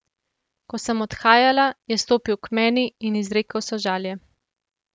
Ko sem odhajala, je stopil k meni in izrekel sožalje.